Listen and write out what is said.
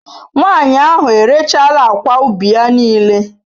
Nwanyị ahụ erechaala akwa ubi ya niile.